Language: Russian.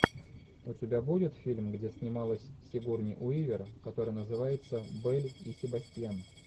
у тебя будет фильм где снималась сигурни уивер который называется белль и себастьян